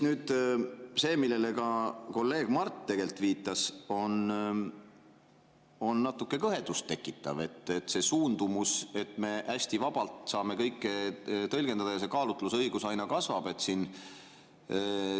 Nüüd see, millele ka kolleeg Mart tegelikult viitas, on natuke kõhedust tekitav suundumus, et me hästi vabalt saame kõike tõlgendada ja see kaalutlusõigus aina kasvab siin.